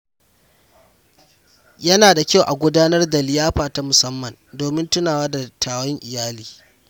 Yana da kyau a gudanar da liyafa ta musamman domin tunawa da dattawan iyali.